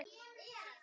Annar þáttur